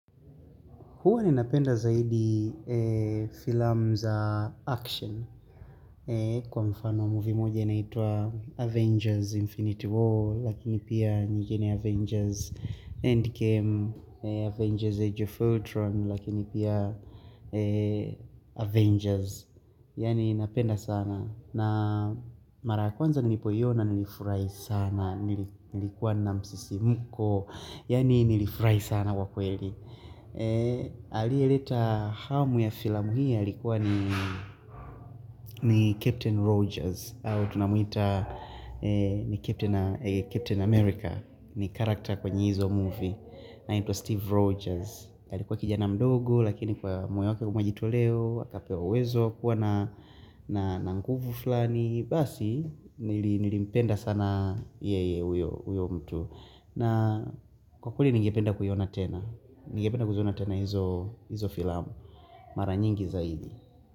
Huwa ninapenda zaidi filamu za action kwa mfano muvi moja inaitwa Avengers Infinity War lakini pia nyigine Avengers Endgame, Avengers Age of Ultron lakini pia Avengers. Yani napenda sana na mara ya kwanza nilipoiona nilifurahi sana nilikuwa na msisimuko yani nilifurahi sana wakweli. Aliyeleta hamu ya filamu hii alikuwa ni ni Captain Rogers au tunamuita ni Captain America ni character kwenye izo movie na inaitwa Steve Rogers alikuwa kijana mdogo lakini kwa moyo wake kwa mwajito leo akapewa wezo kuwa na nguvu fulani basi nilimpenda sana yeye huyo mtu na kwa kweli nigependa kuiona tena nigependa kuziona tena hizo hizo filamu Mara nyingi zaidi.